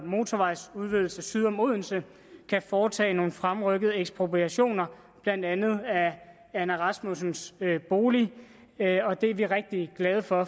motorvejsudvidelse syd om odense kan foretage nogle fremrykkede ekspropriationer blandt andet af anna rasmussens bolig det er vi rigtig glade for